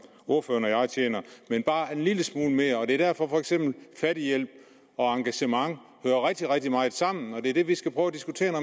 ordføreren og jeg tjener men bare en lille smule mere og det er for eksempel derfor at fattighjælp og engagement hører rigtig rigtig meget sammen og det er det vi skal prøve at diskutere